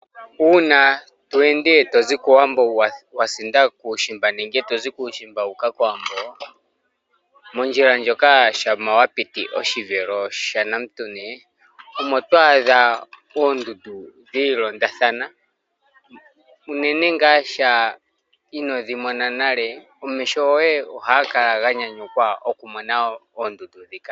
Uuna to ende tozi kowambo wasinda kuushimba nenge tozi kuushimba wuuka kowambo, mondjila ndjoka shampa wapiti oshivelo sha nam'tuni omo to adha oondundu dhiilondathana, uunene ngaa sha ino dhi mona nale, omeho goye ohaga kala ga nyanyukwa okumona oondundu dhika.